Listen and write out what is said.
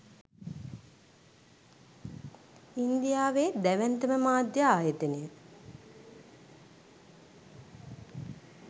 ඉන්දියාවේ දැවැන්තම මාධ්‍ය ආයතනය